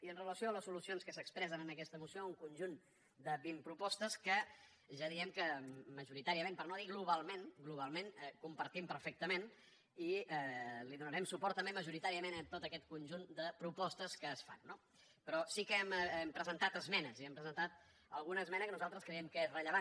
i amb relació a les solucions que s’expressen en aquesta moció un conjunt de vint propostes que ja diem que majoritàriament per no dir globalment compartim perfectament hi donarem suport també majoritàriament a tot aquest conjunt de propostes que es fan no però sí que hem presentat esmenes i hem presentat alguna esmena que nosaltres creiem que és rellevant